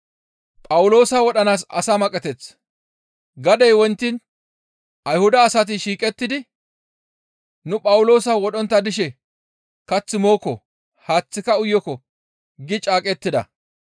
Gadey wontiin Ayhuda asati shiiqettidi, «Nu Phawuloosa wodhontta dishe kath mookko; haaththika uyokko» gi caaqettida.